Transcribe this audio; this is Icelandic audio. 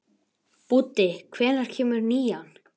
Búddi, hvenær kemur nían?